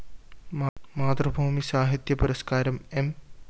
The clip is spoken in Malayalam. മാതൃഭൂമി സാഹിത്യ പുരസ്‌ക്കാരം എം